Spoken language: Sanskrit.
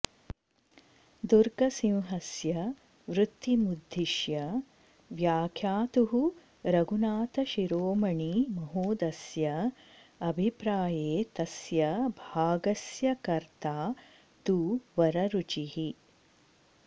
दुर्गसिंहस्य वृत्तिमुद्धिश्य व्याख्यातुः रघुनाथ शिरोमणि महोदयस्य अभिप्राये तस्य भागस्य कर्ता तु वररुचिः